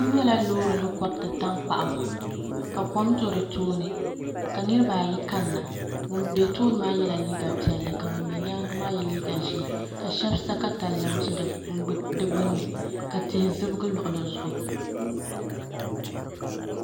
N nyɛla loori ni koriti tankpaɣu ka kom do di tooni ka nirabaayi kanna ŋun bɛ tooni maa yɛla liiga piɛlli ka ŋun bɛ nyaangi maa yɛ liiga ʒiɛ ka shab sa katalɛm ʒi di gbunni ka tihi zibigi luɣuli zuɣu